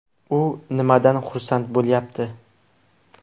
U nimadan xursand bo‘lyapti?